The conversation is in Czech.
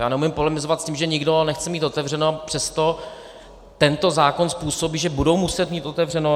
Já neumím polemizovat s tím, že nikdo nechce mít otevřeno, a přesto tento zákon způsobí, že budou muset mít otevřeno.